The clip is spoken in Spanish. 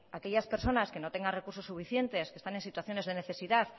aquellas personas que no tienen recursos suficientes que están en situaciones de necesidad